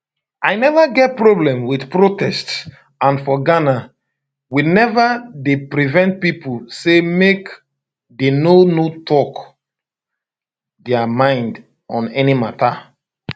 i neva get problem wit protests and for ghana we neva dey prevent pipo say make dey no no talk dia mind on any mata